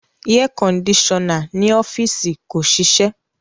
Airconditioner ni ọfiisi ko ṣiṣẹ